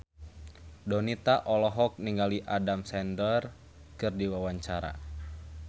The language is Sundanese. Donita olohok ningali Adam Sandler keur diwawancara